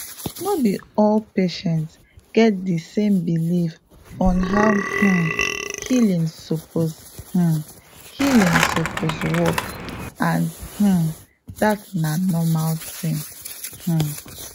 no be all patients get di same belief on how um healing suppose um healing suppose work and um dat na normal thing um